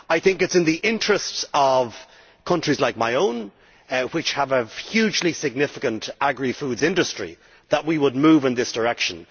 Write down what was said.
I think it is in the interests of countries like my own, which have a hugely significant agri foods industry, that we move in this direction.